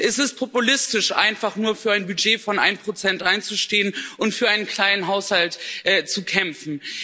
Es ist populistisch, einfach nur für ein Budget von 1 einzustehen und für einen kleinen Haushalt zu kämpfen.